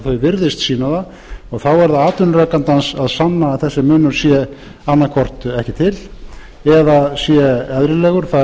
virðist sýna það og þá er það atvinnurekandans að sanna að þessi munur sé annaðhvort ekki til eða sé eðlilegur